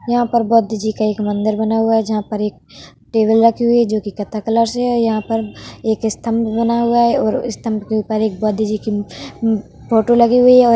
यहाँ पर बौद्ध जी का एक मंदिर बना हुआ है जहाँ पर एक टेबल रखी हुई है जो कि कत्था कलर से है। यहाँ पर एक स्तंभ बना हुआ है और इस स्थंभ के ऊपर एक बौद्ध जी की फोटो लगी हुई है और --